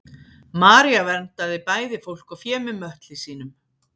maría verndaði bæði fólk og fé með möttli sínum